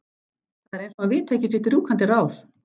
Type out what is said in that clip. Það er eins og hann viti ekki sitt rjúkandi ráð.